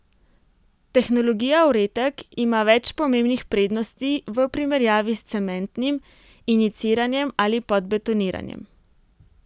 Tehnologija Uretek ima več pomembnih prednosti v primerjavi s cementnim injiciranjem ali podbetoniranjem.